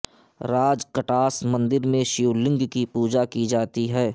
راج کٹاس مندر میں شیو لنگ کی پوجا کی جاتی ہے